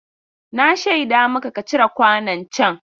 Na shaida maka ka cire kwanon can.